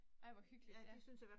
Ej hvor hyggeligt, ja